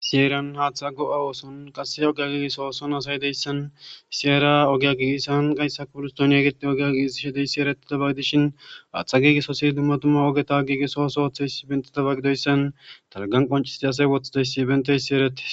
Siyeran haaththa go7a ooson qasse ogea giigis ooson asay deyssan iseera ogya giisan gayssa kuurus dooniya geti ogia giizishe deyssi eretida bagidishin haaththa giigisosi dumma tumma ogeta giigisoosohoththeys si bentidabagideyssan talgan qoncisti asay wothidayssi benteyssi erettes